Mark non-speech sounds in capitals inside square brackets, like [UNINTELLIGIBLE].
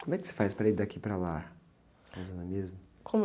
Como é que você faz para ir daqui para lá? [UNINTELLIGIBLE] mesmo?